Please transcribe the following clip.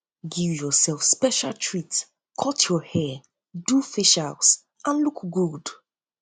give yourself special treat cut your hair do um facials and um look good